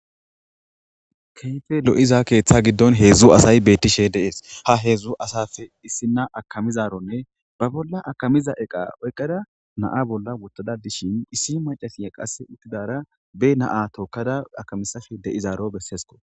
Keyfe lo7iza keeththa giddon heedzdzu asay beettishe deees ha heedzdzu asafe issinna akamizaronne ba bolla akamiza eqa oykqada naa bolla wottada dishin issi macasiya qasse uttidara be naa tookkada akamisafe de7izaaro besseesko.